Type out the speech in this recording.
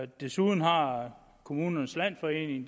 desuden har kommunernes landsforening